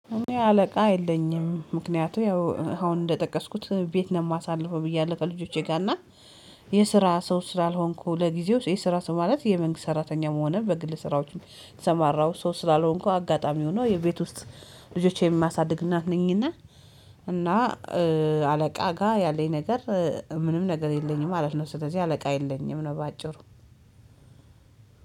እኔ አለቃ የለኝም ምክንያቱ ያው አሁን እንደጠቀስኩት ቤት ነው የማሳልፈው ብያለሁ ከልጆቼ ጋር እና የስራ ሰው ስላልሆንኩ ለጊዜው የስራ ሰው ማለት የመንግስት ሰራተኛም ሆነ በግል ስራዎች የተሰማራው ሰው ስላልሆንኩ አጋጣሚ ሆኖ ቤት ውስጥ ልጆቼን የማሳድግ እናት ነኝ እና እና አለቃ ጋር ያለኝ ነገር ምንም ነገር የለኝም ማለት ነው ስለዚህ አለቃ የለኝም ነው። በአጭሩ